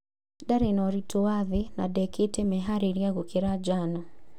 Ndarĩ na ũritũ wa thĩ na ndekĩte meharĩria gũkiria njano